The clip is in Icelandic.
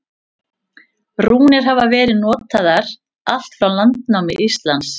Rúnir hafa verið notaðar allt frá landnámi Íslands.